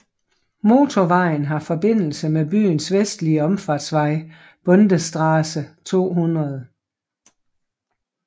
Motorvejen har forbindelse med byens vestlige omfartsvej Bundesstraße 200